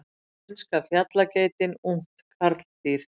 Spænska fjallageitin, ungt karldýr.